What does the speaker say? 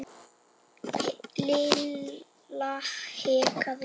Lilla hikaði.